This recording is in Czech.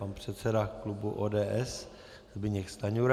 Pan předseda klubu ODS, Zbyněk Stanjura.